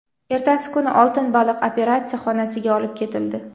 Ertasi kuni oltin baliq operatsiya xonasiga olib ketildi.